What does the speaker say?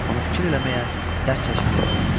Onu fikir eləməyə, dərd çəkməyə qoymur.